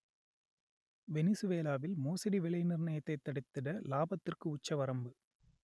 வெனிசுவேலாவில் மோசடி விலை நிர்ணயத்தை தடுத்திட லாபத்திற்கு உச்சவரம்பு